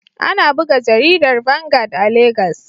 Ana buga jaridar Vanguard a Legas.